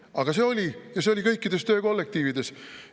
Aga see oli ja see oli kõikides töökollektiivides.